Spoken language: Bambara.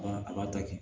Ba a b'a ta kɛ